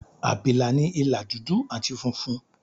Àbìlà ní ìlà dúdú àti funfun.